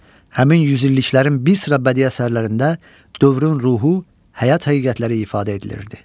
Həmin yüzilliklərin bir sıra bədii əsərlərində dövrün ruhu, həyat həqiqətləri ifadə edilirdi.